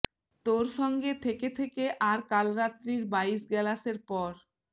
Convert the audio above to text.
তোর সঙ্গে থেকে থেকে আর কাল রাত্রির বাইশ গেলাশের পর